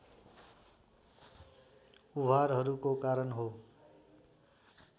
उभारहरूको कारण हो